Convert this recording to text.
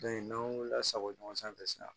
n'an y'o lasago ɲɔgɔn sanfɛ sisan